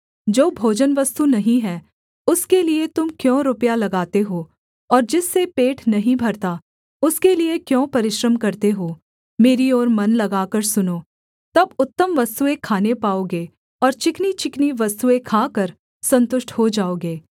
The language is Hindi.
जो भोजनवस्तु नहीं है उसके लिये तुम क्यों रुपया लगाते हो और जिससे पेट नहीं भरता उसके लिये क्यों परिश्रम करते हो मेरी ओर मन लगाकर सुनो तब उत्तम वस्तुएँ खाने पाओगे और चिकनीचिकनी वस्तुएँ खाकर सन्तुष्ट हो जाओगे